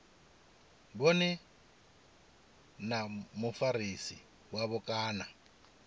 vhone na mufarisi wavho kana